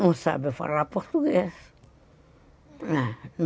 Não sabe falar português.